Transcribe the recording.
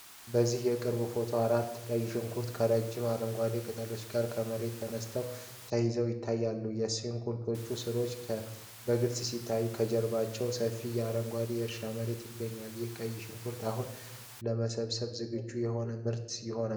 በዚህ የቅርብ ፎቶ፣ አራት ቀይ ሽንኩርቶች ከረጅም አረንጓዴ ቅጠሎቻቸው ጋር ከመሬት ተነቅለው ተይዘው ይታያሉ። የስንኩርቶቹ ሥሮች በግልጽ ሲታዩ፣ ከበስተጀርባ ሰፊ አረንጓዴ የእርሻ መሬት ይገኛል። ይህ ቀይ ሽንኩርት አሁን ለመሰብሰብ ዝግጁ የሆነ ምርት ይሆን?